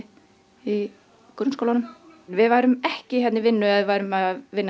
í grunnskólanum við værum ekki hér í vinnu ef við værum að vinna